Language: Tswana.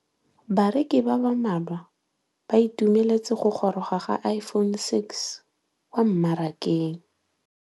Bareki ba ba malwa ba ituemeletse go gôrôga ga Iphone6 kwa mmarakeng.